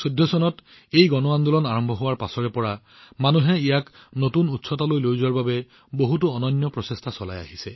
২০১৪ চনত এই গণ আন্দোলনৰ আৰম্ভণিৰ পৰা ইয়াক নতুন উচ্চতালৈ লৈ যোৱাৰ বাবে জনসাধাৰণে অনন্য প্ৰচেষ্টা চলাই আহিছে